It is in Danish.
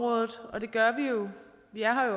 det gør vi jo